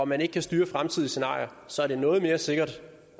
man ikke kan styre fremtidsscenarier så er det noget mere sikkert